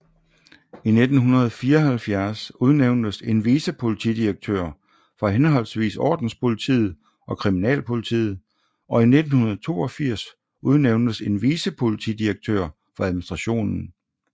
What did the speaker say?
I 1974 udnævntes en vicepolitidirektør for henholdsvis Ordenspolitiet og Kriminalpolitiet og i 1982 udnævntes en vicepolitidirektør for administration